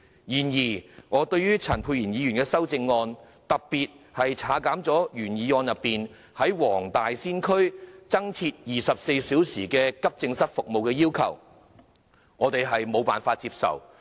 然而，對於陳沛然議員的修正案，特別是他刪除了原議案中"在黃大仙區設立24小時急症室服務"的要求，我們無法接受。